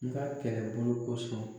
N ka kɛ kɛlɛbolo kosɔn.